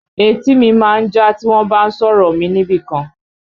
Etí mi má ń já tí wọ́n bá ń sọ̀rọ̀ mi níbìkan